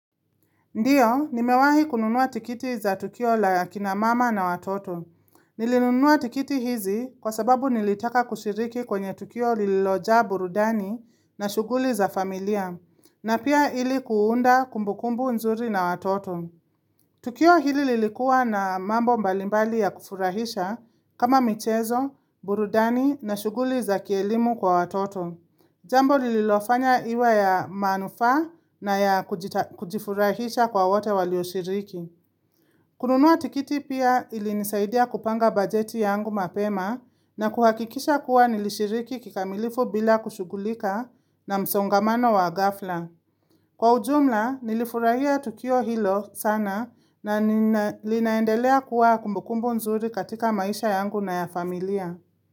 Ndio, nimewahi kununua tikiti za tukio la akina mama na watoto. Nilinunua tikiti hizi kwa sababu nilitaka kushiriki kwenye tukio liloja burudani na shughuli za familia. Na pia hili kuunda kumbukumbu nzuri na watoto. Tukio hili lilikua na mambo mbalimbali ya kufurahisha kama michezo, burudani na shughuli za kielimu kwa watoto. Jambo lililofanya iwe ya manufaa na ya kujifurahisha kwa wote walioshiriki. Kununua tikiti pia ilinizaidia kupanga bajeti yangu mapema na kuhakikisha kuwa nilishiriki kikamilifu bila kushugulika na msongamano wa gafla. Kwa ujumla nilifurahia tukio hilo sana na linaendelea kuwa kumbukumbu nzuri katika maisha yangu na ya familia.